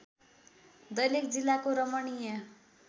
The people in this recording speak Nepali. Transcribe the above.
दैलेख जिल्लाको रमणीय